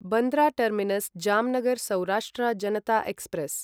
Bandra terminus Jamnagar Saurashtra Janata express